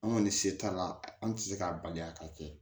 An kɔni se t'a la an ti se k'a bali a ka kɛ